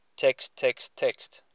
text text text